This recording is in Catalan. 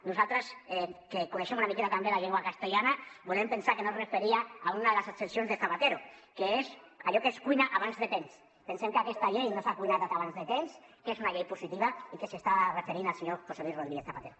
nosaltres que coneixem una miqueta també la llengua castellana volem pensar que no es referia a una de les accepcions de zapatero que és allò que es cuina abans de temps pensem que aquesta llei no s’ha cuinat abans de temps que és una llei positiva i que s’està referint al senyor josé luis rodríguez zapatero